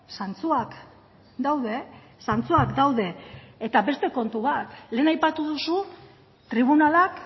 zantzuak daude zantzuak daude eta beste kontu bat lehen aipatu duzu tribunalak